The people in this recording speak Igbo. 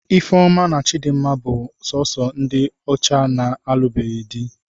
Ifeoma na Chidinma bụ sọọsọ ndị ọcha na-alụbeghị di.